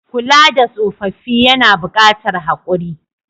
Kula da tsoffafi yAna bukatar hakuri